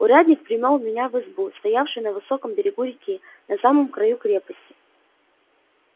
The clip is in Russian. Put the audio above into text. урядник привёл меня в избу стоявшую на высоком берегу реки на самом краю крепости